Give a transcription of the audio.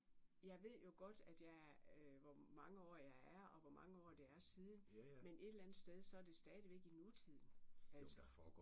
Jeg ved jo godt at jeg er hvor mange år jeg er og hvor mange år det er siden men et eller andet sted så det stadigvæk i nutiden altså